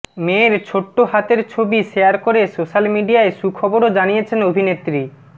মেয়ের ছোট্ট হাতের ছবি শেয়ার করে সোশ্যাল মিডিয়ায় সুখবরও জানিয়েছেন অভিনেত্রী